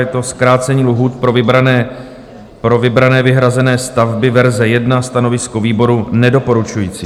Je to zkrácení lhůt pro vybrané vyhrazené stavby, verze 1. Stanovisko výboru: nedoporučující.